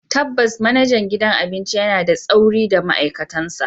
Tabbas, manajan gidan abinci yana da tsauri da ma'aikatansa.